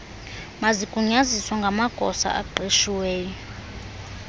mazigunyaziswe ngamagosa aqeshiweyo